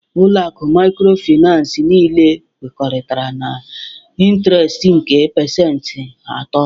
Ụlọ akụ microfinance niile kwekọrịtara na intiresti nke pasentị atọ